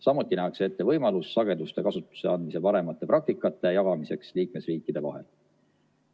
Samuti nähakse ette võimalus sageduste kasutusse andmise paremate praktikate jagamiseks liikmesriikide vahel.